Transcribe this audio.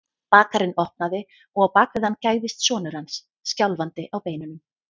Bakarinn opnaði og á bak við hann gægðist sonur hans, skjálfandi á beinunum.